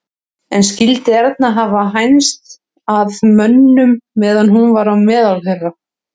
En skyldi Erna hafa hænst að mönnum meðan hún var á meðal þeirra?